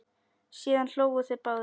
Síðan hlógu þeir báðir.